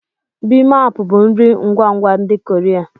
Bimaap bụ nri ngwa ngwa ndị Korea.